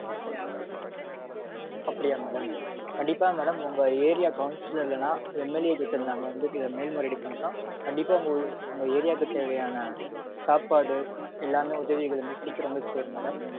அப்படியா கண்டிப்பா madam உங்க area counsilor இல்லனா MLA கிட்ட நாங்க வந்து மேல்முறையீடு பண்றோம். கண்டிப்பா வந்து உங்க area க்கு தேவையான சாப்பாடு எல்லாமே உதவிகள் வந்து சீக்கிரம் வந்து சேரும் madam.